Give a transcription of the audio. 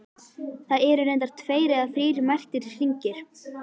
Það eru reyndar tveir eða þrír merktir hringir.